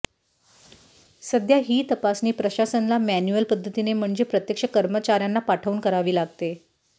सध्या ही तपासणी प्रशासनाला मॅन्युअल पद्धतीने म्हणजे प्रत्यक्ष कर्मचाऱ्यांना पाठवून करावी लागते